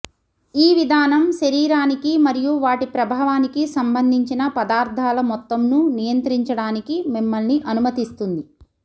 ఈ విధానం శరీరానికి మరియు వాటి ప్రభావానికి సంబంధించిన పదార్థాల మొత్తంను నియంత్రించడానికి మిమ్మల్ని అనుమతిస్తుంది